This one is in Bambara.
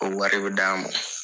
O wari bɛ d'an ma.